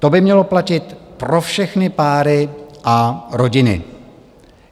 To by mělo platit pro všechny páry a rodiny.